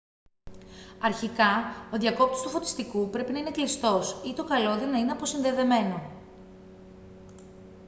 αρχικά ο διακόπτης του φωτιστικού πρέπει να είναι κλειστός ή το καλώδιο να είναι αποσυνδεδεμένο